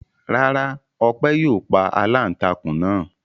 Rárá, Ọpẹ́ yóò pa aláǹtakùn náà.